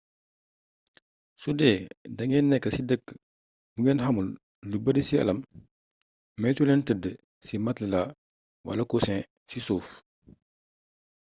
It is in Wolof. sudee dangeen nekk ci dëkk bu ngeen xamul lu bari ci àllam moytu leen tëdd ci matelas wala coussin ci suuf